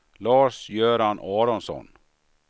Lars-Göran Aronsson